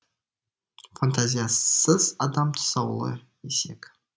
фантазиясыз адам тұсаулы есек